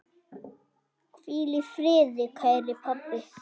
Hvíl í friði, kæri pabbi.